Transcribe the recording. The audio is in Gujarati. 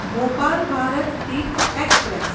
ભોપાલ ભારત તીર્થ એક્સપ્રેસ